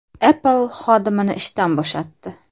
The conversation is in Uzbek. Apple xodimini ishdan bo‘shatdi.